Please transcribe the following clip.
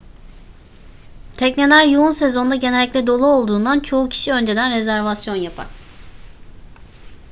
tekneler yoğun sezonda genellikle dolu olduğundan çoğu kişi önceden rezervasyon yapar